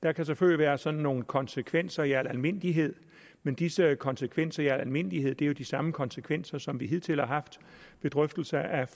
der kan selvfølgelig være sådan nogle konsekvenser i al almindelighed men disse konsekvenser i al almindelighed er jo de samme konsekvenser som vi hidtil har haft ved drøftelser af